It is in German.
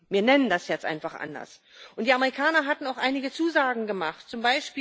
Wir nennen das jetzt einfach anders. Und die Amerikaner hatten auch einige Zusagen gemacht, z.